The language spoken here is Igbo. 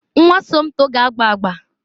Nwa Somto ga-agba agba.